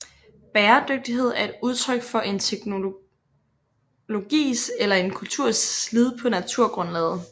Bæredygtighed er et udtryk for en teknologis eller en kulturs slid på naturgrundlaget